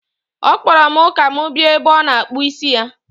Ọ kpọrọ m ka m bịa ebe ọ nọ akpụ isi ya.